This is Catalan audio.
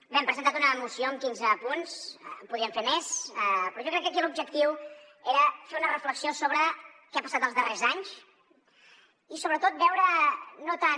bé hem presentat una moció amb quinze punts en podíem fer més però jo crec que aquí l’objectiu era fer una reflexió sobre què ha passat els darrers anys i sobretot veure no tant